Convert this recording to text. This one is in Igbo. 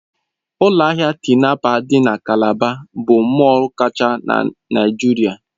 Ụlọ ahịa Tinapa dị na Calabar bụ mọll kwachaa na Naịjirịa.